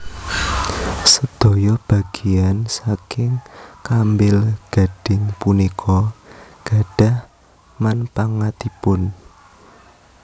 Sedaya bageyan saking kambil gading punika gadhah manpangatipun